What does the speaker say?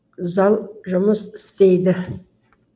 зал жұмыс істейді